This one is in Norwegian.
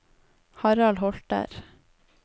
Harald Holter